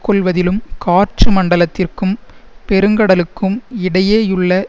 கொள்வதிலும் காற்று மண்டலத்திற்கும் பெருங்கடலுக்கும் இடையேயுள்ள